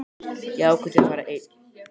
Ég ákvað því að fara einn.